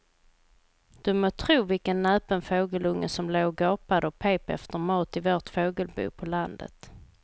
Du må tro vilken näpen fågelunge som låg och gapade och pep efter mat i vårt fågelbo på landet.